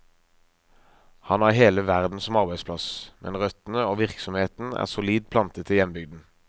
Han har hele verden som arbeidsplass, men røttene og virksomheten er solid plantet i hjembygden.